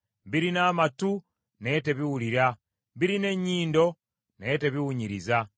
Birina amatu, naye tebiwulira; birina ennyindo, naye tebiwunyiriza.